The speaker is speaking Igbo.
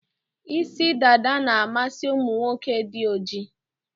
Isi dada na-amasị ụmụ nwoke dị ojii.